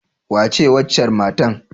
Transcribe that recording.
Wace waccar matan?